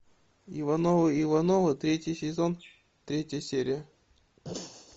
ивановы ивановы третий сезон третья серия